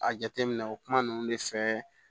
A jateminɛ o kuma ninnu de fɛ